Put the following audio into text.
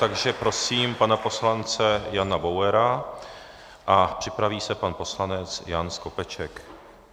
Takže prosím pana poslance Jana Bauera a připraví se pan poslanec Jan Skopeček.